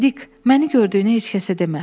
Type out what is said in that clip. Dik, məni gördüyünü heç kəsə demə.